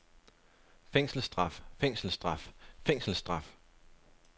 fængselsstraf fængselsstraf fængselsstraf